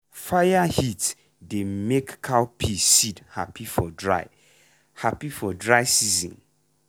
fire heat dey make cowpea seed happy for dry happy for dry season.